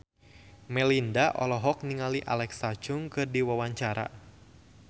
Melinda olohok ningali Alexa Chung keur diwawancara